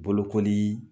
Bolokoli